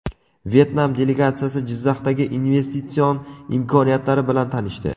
Vyetnam delegatsiyasi Jizzaxdagi investitsion imkoniyatlari bilan tanishdi.